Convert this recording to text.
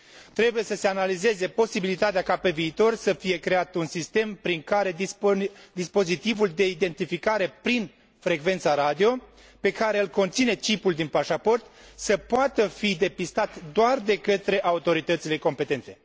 Trebuie să se analizeze posibilitatea ca pe viitor să fie creat un sistem prin care dispozitivul de identificare prin frecvența radio, pe care îl conține cipul din pașaport, să poată fi depistat doar de către autoritățile competente.